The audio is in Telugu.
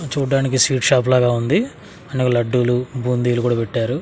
చూడ్డానికి స్వీట్ షాప్ లాగా ఉంది ఆయనకి లడ్డులు బూందీలు కూడా పెట్టారు.